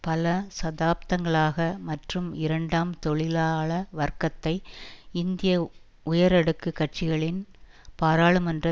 பல தசாப்தங்களாக மற்றும் இரண்டாம் தொழிலாள வர்க்கத்தை இந்திய உயரடுக்குக் கட்சிகளின் பாராளுமன்ற